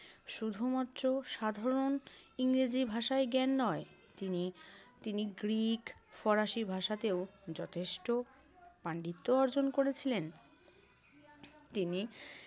শুধুমাত্র সাধারণ ইংরেজি ভাষায় জ্ঞান নয়, তিনি~ তিনি গ্রিক, ফরাসি ভাষাতেও যথেষ্ট পাণ্ডিত্য অর্জন করেছিলেন। তিনি